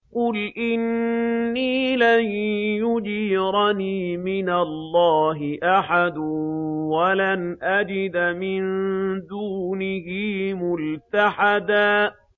قُلْ إِنِّي لَن يُجِيرَنِي مِنَ اللَّهِ أَحَدٌ وَلَنْ أَجِدَ مِن دُونِهِ مُلْتَحَدًا